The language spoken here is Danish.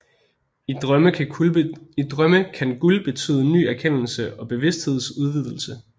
I drømme kan guld betyde ny erkendelse og bevidsthedsudvidelse